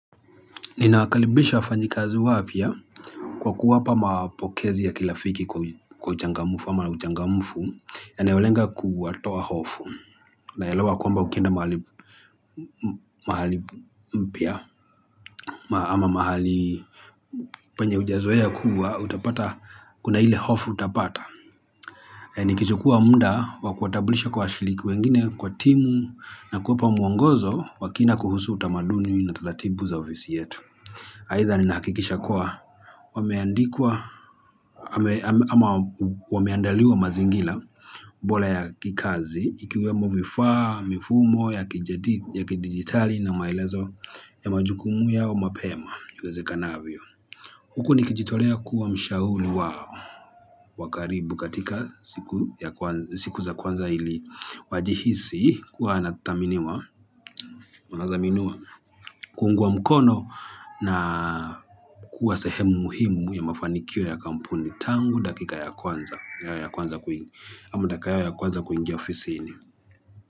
Ninaakaribisha wafanyikazi wapya kwa kuwapa mapokezi ya kirafiki kwa uchangamfu ama uchangamfu yanayolenga kuwatoa hofu naelewa kwamba ukienda mahali mpya ama mahali penye hujazoea kuwa utapata kuna ile hofu utapata. Nikichukua muda wa kuwatabulisha kwa washiriki wengine kwa timu na kuwapa muongozo wa kina kuhusu utamaduni na taratibu za ofisi yetu. Aidha ninahakikisha kuwa wameandikwa ama wameandaliwa mazingira bora ya kikazi ikiwemo vifaa, mifumo, ya kidigitali na maelezo ya majukumu yao mapema iwezekanavyo. Huku nikijitolea kuwa mshauri wao. Wa karibu katika siku za kwanza ili wajihisi kuwa anataminiwa. Mnadhaminiwa kuungwa mkono na kuwa sehemu muhimu ya mafanikio ya kampuni tangu dakika ya kwanza. Ya ya kwanza kuingi. Ama dakika yao ya kwanza kuingia ofisini.